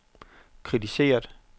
kritiseret